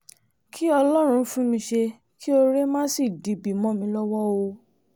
kí ọlọ́run fún mi ṣe kí oore má sì dibi mọ́ mi lọ́wọ́ o